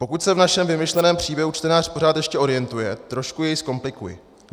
Pokud se v našem vymyšleném příběhu čtenář pořád ještě orientuje, trošku jej zkomplikuji.